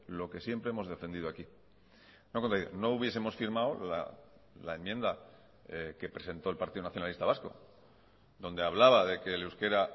lo que siempre hemos defendido aquí no hubiesemos firmado la enmienda que presentó el partido nacionalista vasco donde hablaba de que el euskera